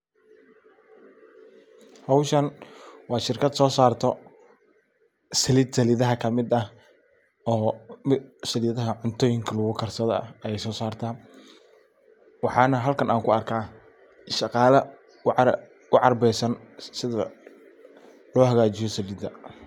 Howshan waa shirkad so sarto salid salidaha ka mid ah. Oo salidaha cuntoyinka lagu karsado ay so sarto waxana halkan an kuarka shaqala u arbiyeysan sidaa lo hagajiyo salida.